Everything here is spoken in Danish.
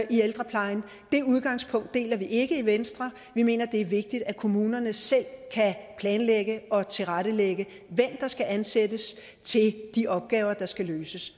i ældreplejen det udgangspunkt deler vi ikke i venstre vi mener det er vigtigt at kommunerne selv kan planlægge og tilrettelægge hvem der skal ansættes til de opgaver der skal løses